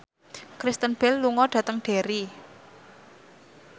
Kristen Bell lunga dhateng Derry